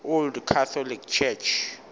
old catholic church